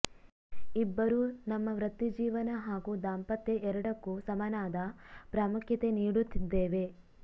ಇಬ್ಬರೂ ನಮ್ಮ ವೃತ್ತಿಜೀವನ ಹಾಗೂ ದಾಂಪತ್ಯ ಎರಡಕ್ಕೂ ಸಮನಾದ ಪ್ರಾಮುಖ್ಯತೆ ನೀಡುತ್ತಿದ್ದೇವೆ